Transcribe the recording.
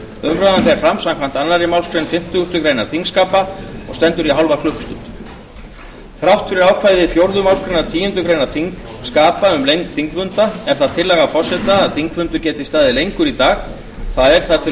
umræðan fer fram samkvæmt annarri málsgrein fimmtugustu grein þingskapa og stendur í hálfa klukkustund þrátt fyrir ákvæði fjórðu málsgreinar tíundu greinar þingskapa um lengd þingfunda er það tillaga forseta að þingfundur geti staðið lengur í dag það er þar til